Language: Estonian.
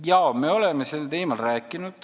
Jaa, me oleme sel teemal rääkinud.